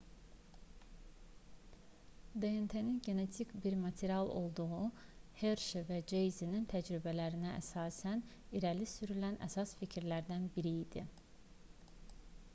dnt-nin genetik bir material olduğu herşi və çeyzin təcrübəsinə əsasən irəli sürülən əsas fikirlərdən biri idi